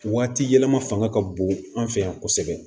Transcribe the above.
Waati yɛlɛma fanga ka bon an fɛ yan kosɛbɛ